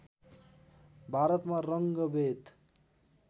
भारतमा रङ्गभेद